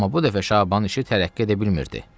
Amma bu dəfə Şabanın işi tərəqqi edə bilmirdi.